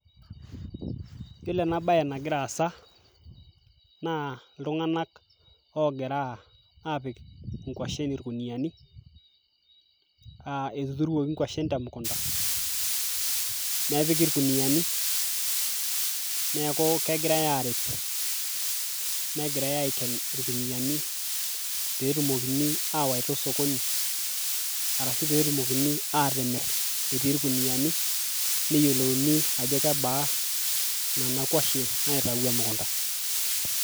yiolo ena baye nagira aasa naa iltung'anak ogira apik inkuashen irkuniani uh, etuturuoki inkuashen temukunta nepiki irkuniani neeku kegirae arip negirae aiken irkuniyiani petumokini awaita osokoni arashu petumokini atimirr etii irkuniani neyiolouni ajo kebaa nena kuashen naitawuo emukunta.